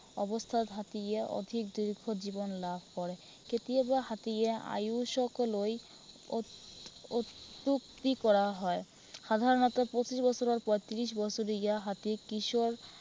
অৱস্থাত হাতীয়ে অধিক দুৰ্বিসহ জীৱন লাভ কৰে। কেতিয়াবা হাতীয়ে আয়ুসক লৈ আহ অত্য়ুক্তি কৰা হয়। সাধৰণতে পঁচিশ বছৰৰ পৰা ত্ৰিশ বছৰীয়া হাতীক কিশোৰ